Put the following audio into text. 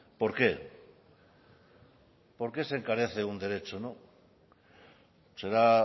por qué por qué se encarece un derecho será